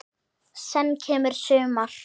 Senn kemur sumar.